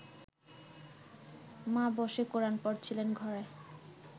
মা বসে কোরান পড়ছিলেন ঘরে